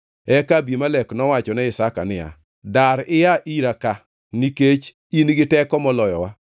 Eka Abimelek nowacho ne Isaka niya, “Dar ia ira ka nikech in giteko moloyowa.”